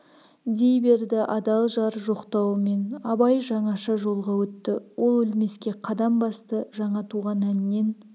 дей берді адал жар жоқтауымен абай жаңаша жолға өтті ол өлмеске қадам басты жаңа туған әннен